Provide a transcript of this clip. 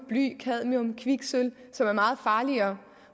bly cadmium kviksølv som er meget farligere